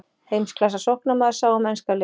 Heimsklassa sóknarmaður sá um enska liðið.